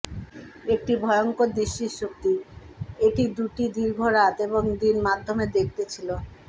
একটি ভয়ঙ্কর দৃষ্টিশক্তি এটি দুটি দীর্ঘ রাত এবং দিন মাধ্যমে দেখতে ছিল